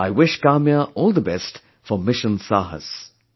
I wish Kamya all the best for 'Mission Saahas'